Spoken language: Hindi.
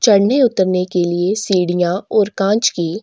चड़ने उतरने के लिए सीढ़िया और कांच की--